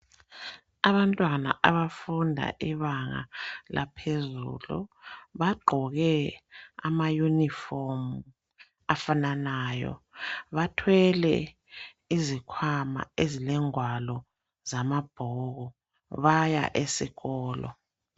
Abantwana abafunda ibanga laphezulu bagqoke amayunifomu afananayo bathwele izikhwama ezilengwalo zamabhuku baya esikolo.